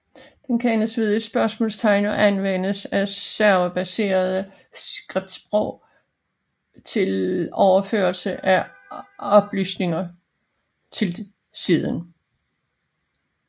Den kendes ved et spørgsmålstegn og anvendes af serverbaserede scriptsprog til overførsel af oplysninger til siden